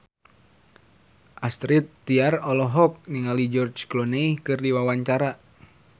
Astrid Tiar olohok ningali George Clooney keur diwawancara